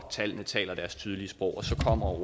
tallene taler deres tydelige sprog så kommer